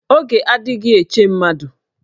Oge adịghị eche mmadụ